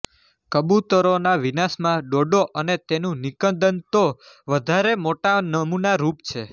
કબૂતરોના વિનાશમાં ડોડો અને તેનુ નિકંદનતો વધારે મોટા નમુનારૂપ છે